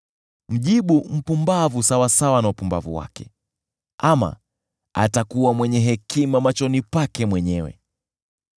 Mjibu mpumbavu sawasawa na upumbavu wake, ama atakuwa mwenye hekima machoni pake mwenyewe.